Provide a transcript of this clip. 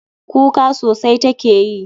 Kuka sosai take yi.